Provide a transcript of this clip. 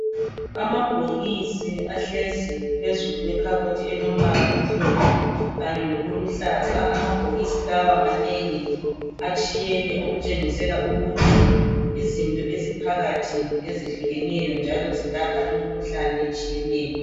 Amabhokisi ahlezi phezulu kwekhabothi elombala omhlophe kanye lokuluhlaza amabhokisi lawa manengi atshiyene okutshengisela ukuthi izinto eziphakathi ngezehlukeneyo njalo zilapha imikhuhlane etshiyeneyo.